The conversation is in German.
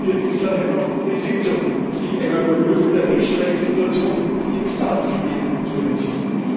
So boykottierte Israel einfach eine Sitzung, um sich einer Überprüfung der Menschenrechtssituation auf seinem Staatsgebiet zu entziehen.